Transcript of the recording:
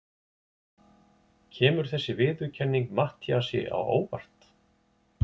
Kemur þessi viðurkenning Matthíasi á óvart?